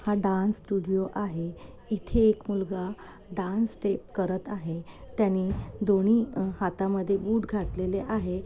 हा dance studio आहे इथे एक मुलगा डांस स्टेप करत आहे त्यानी दोन्ही हातामधे बूट घातलेले आहे.